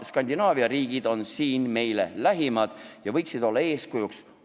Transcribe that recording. Skandinaavia riigid on meile lähimad ja võiksid olla eeskujuks.